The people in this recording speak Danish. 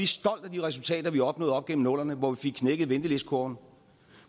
stolte af de resultater vi opnåede op gennem nullerne hvor vi fik knækket ventelistekurven